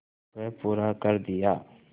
वह पूरा कर दिया